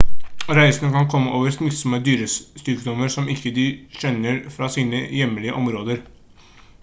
reisende kan komme over smittsomme dyresykdommer som de ikke kjenner fra sine hjemlige områder